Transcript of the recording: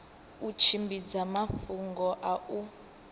u tshimbidza mafhungo a u